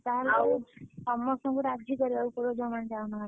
ଆଉ ତାହେଲେ ସମସ୍ତଙ୍କୁ ରାଜି କରିବା ପାଇଁ ପଡିବ ଯୋଉ ମାନେ ଯାଉ ନାହାନ୍ତି।